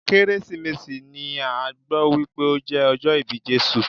Kérésìmesì ni a gbọ́ wípé o jẹ́ ọjọ́ ìbí Jésù.